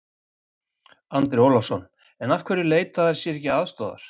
Andri Ólafsson: En af hverju leita þær sér ekki aðstoðar?